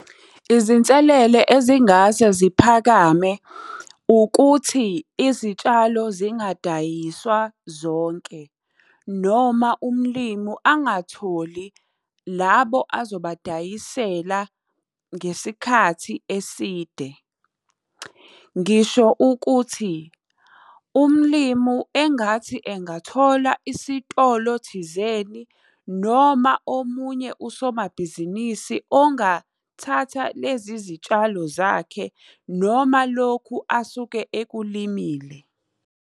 Izinselele ezingase ziphakame, ukuthi izitshalo zingadayiswa zonke, noma umlimu angatholi labo azobadayisela ngesikhathi eside. Ngisho ukuthi, umlimu engathi engathola isitolo thizeni, noma omunye usomabhizinisi ongathatha lezi izitshalo zakhe, noma lokhu asuke ekulimile.